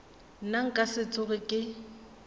nna nka se tsoge ke